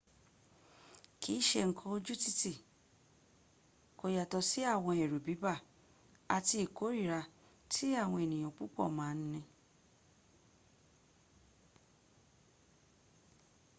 kìi ṣe nkan ojútíti kò yàtọ̀ sí àwọn ẹ̀rù bíbà àti ìkórira tí àwọn èyàn púpọ̀ ma n ní